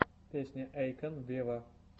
песня эйкон вево